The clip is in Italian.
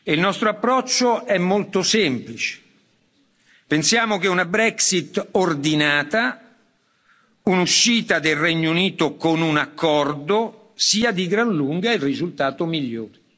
Il nostro approccio è molto semplice pensiamo che una Brexit ordinata, un'uscita del Regno Unito con un accordo, sia di gran lunga il risultato migliore.